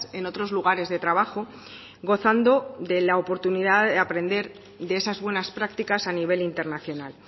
en otros lugares de trabajo gozando de la oportunidad de aprender de esas buenas prácticas a nivel internacional